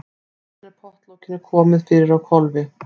Síðan er pottlokinu komið fyrir á hvolfi.